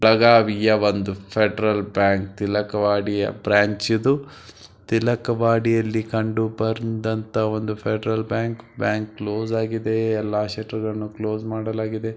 ಬೆಳಗಾವಿಯ ಒಂದು federal bank Tilakwadi ಯ ಬ್ರಾಂಚ್ ಇದು ತಿಲಕವಾಡಿಯಲ್ಲಿ ಕಂಡುಬರುವಂತಹ ಒಂದು ಫೆಡರಲ್ ಬ್ಯಾಂಕ್ ಬ್ಯಾಂಕ್ ಎಲ್ಲ ಕ್ಲೋಸ್ ಆಗಿದೆ ಎಲ್ಲ ಶೆಲ್ಟರ್ ಗಳನ್ನು ಕ್ಲೋಸ್ ಮಾಡಲಾಗಿದೆ ಬ್ಯಾನರ್ಗಳನ್ನ ಹಾಕಿದ್ದಾರೆ ಅಲ್ಲದೆ ಒಂದು ದೊಡ್ಡ ಕಾಂಪ್ಲೆಕ್ಸ್ ನಲ್ಲಿರು ಅಂತಹ ಒಂದು ಬ್ಯಾಂಕ್.